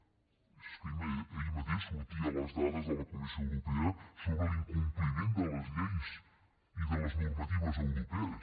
és que ahir mateix sortien les dades de la comissió europea sobre l’incompliment de les lleis i de les normatives europees